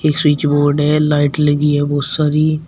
Switch board है light लगी है बहुत सारी।